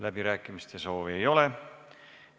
Läbirääkimiste soovi ei ole.